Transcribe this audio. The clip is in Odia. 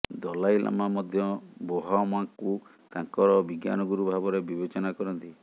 ଦଲାଇ ଲାମା ମଧ୍ୟ ବୋହମାଙ୍କୁ ତାଙ୍କର ବିଜ୍ଞାନ ଗୁରୁ ଭାବରେ ବିବେଚନା କରନ୍ତି